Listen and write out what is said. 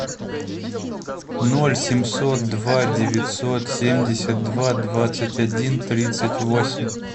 ноль семьсот два девятьсот семьдесят два двадцать один тридцать восемь